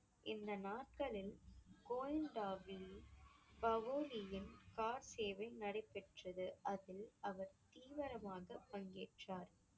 இந்த சேவை நடைபெற்றது அதில் அவர் தீவிரமாகப் பங்கேற்றார்.